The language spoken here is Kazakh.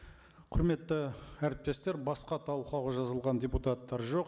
құрметті әріптестер басқа талқылауға жазылған депутаттар жоқ